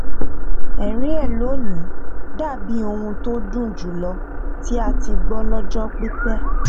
ẹrín ẹ lónìí dàbíi ohùn tó dùn jù lọ tí a ti gbọ lọjọ pípẹ